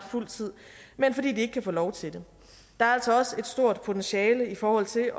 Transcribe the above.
fuld tid men fordi de ikke kan få lov til det der er altså også et stort potentiale i forhold til